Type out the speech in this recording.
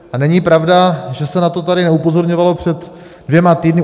A není pravda, že se na to tady neupozorňovalo před dvěma týdny.